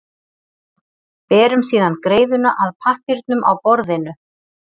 Berum síðan greiðuna að pappírnum á borðinu.